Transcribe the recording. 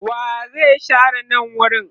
wa zai share nan wurin?